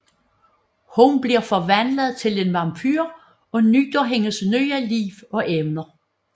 Hun bliver forvandlet til en vampyr og nyder hendes nye liv og evner